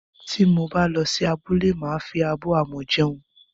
Tí mo bá lọ sí abúlé, màa fi abọ́ amọ̀ jẹun